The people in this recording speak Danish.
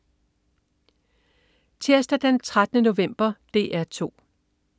Tirsdag den 13. november - DR 2: